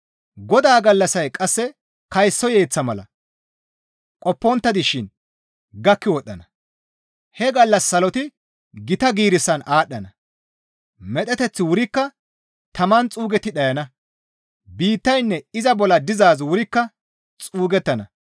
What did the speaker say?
Godaa gallassay qasse kayso yeeththa mala qoppontta dishin gakki wodhdhana; he gallas saloti gita giirissan aadhdhana; medheteththi wurikka taman xuugetti dhayana; biittaynne iza bolla dizaazi wurikka xuugettana.